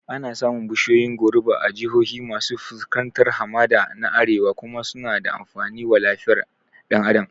Ana samun bishiyoyin goruba a jihohi masu fuskantar hamada na Arewa kuma suna da amfani wa lafiyar ɗan Adam